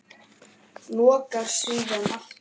Lokar síðan aftur.